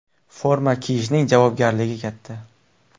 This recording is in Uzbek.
Forma kiyishning javobgarligi katta.